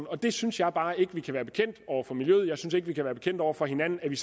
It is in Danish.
og det synes jeg bare ikke vi kan være bekendt over for miljøet jeg synes ikke at vi kan være bekendt over for hinanden at vi